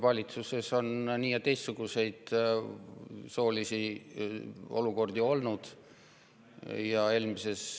Valitsuses on soolisi olukordi olnud nii- ja teistsuguseid.